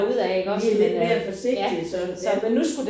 Vi lidt mere forsigtige sådan ja